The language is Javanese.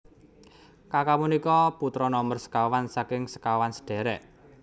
Kaka punika putra nomer sekawan saking sekawan sadherek